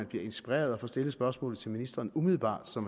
bliver inspireret at få stillet spørgsmålet til ministeren umiddelbart så